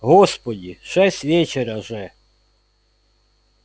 господи шесть вечера же